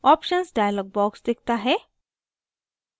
options dialog box दिखता है